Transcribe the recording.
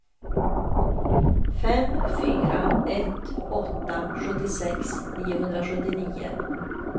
fem fyra ett åtta sjuttiosex niohundrasjuttionio